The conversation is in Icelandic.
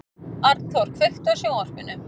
Arnþór, kveiktu á sjónvarpinu.